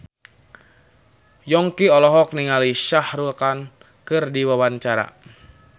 Yongki olohok ningali Shah Rukh Khan keur diwawancara